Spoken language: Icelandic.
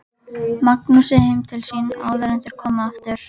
Magnúsi heim til sín áður en þeir komu aftur.